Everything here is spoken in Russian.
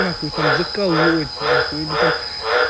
на хуй там заколоть на хуй или там